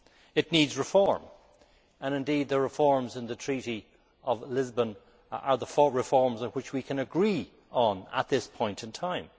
It needs reform, and indeed the reforms in the Treaty of Lisbon are the reforms on which we can agree at this point in time.